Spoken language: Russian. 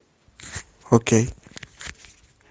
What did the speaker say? окей